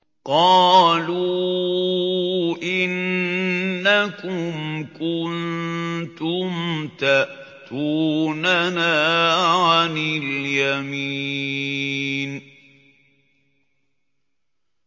قَالُوا إِنَّكُمْ كُنتُمْ تَأْتُونَنَا عَنِ الْيَمِينِ